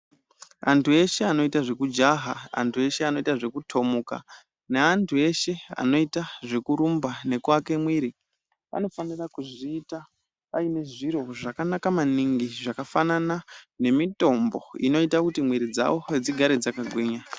Antu eshe anoita zvekujaha, antu eshe anoita zvekutomuka neantu eshe anoita zvekurumba nekuake mwiri vanofanire kuzviita vaine zviro zvakanaka maningi zvakafanana nemitombo inoita kuti mwiri dzavo dzigare dzakagwinya.